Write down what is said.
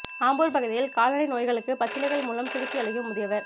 ஆம்பூா் பகுதியில் கால்நடை நோய்களுக்கு பச்சிலைகள் மூலம் சிகிச்சை அளிக்கும் முதியவா்